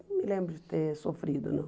Não me lembro de ter sofrido, não.